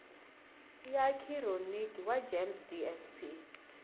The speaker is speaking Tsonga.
ya khironiki wa gems dsp